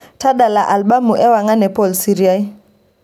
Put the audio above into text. tadala albamu engwan e paul siria